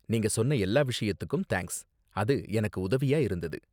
நீங்க சொன்ன எல்லா விஷயத்துக்கும் தேங்க்ஸ், அது எனக்கு உதவியா இருந்தது.